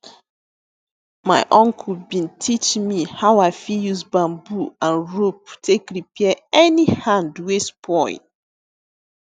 my uncle bin teach me how i fit use bamboo and rope take repair any hand wey spoil